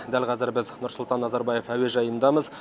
дәл қазір біз нұрсұлтан назарбаев әуежайындамыз